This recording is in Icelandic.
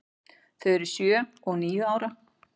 Þau eru sjö og níu ára.